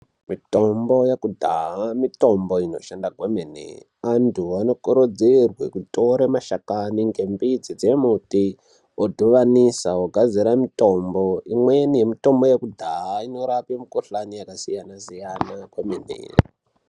Mitombo yekudhaya mitombo inoshandwa kwemene , antu andokurudzirwe kutora mashakani ngembiti dzemuti otovanisa vagadzire mutombo imweni mitombo yekudhaya inorape mikhuhlani yakasiyana siyana kwomene.